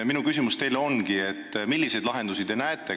Minu küsimus teile ongi, et milliseid lahendusi te näete.